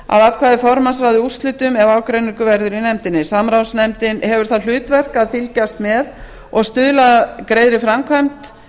atkvæði formanns ráði úrslitum ef ágreiningur verður í nefndinni samráðsnefndin hefur það hlutverk að fylgjast með og stuðla að greiðri framkvæmd